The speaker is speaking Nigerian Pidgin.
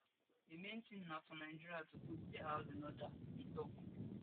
di main tin na for nigeria to put dia house in order e tok